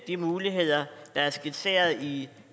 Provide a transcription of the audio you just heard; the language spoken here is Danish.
de muligheder der er skitseret i